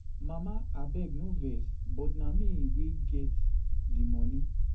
Mama abeg no vex but na me wey get the money